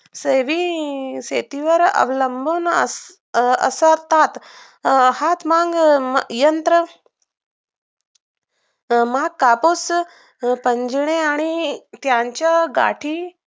शहरी शेतीवर अवलंबून अस असतात हातमाग यंत्र माग कापूस पिजण्यास आणि त्यांच्या गादी